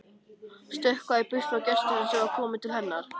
Stökkva í burtu frá gestinum sem var kominn til hennar.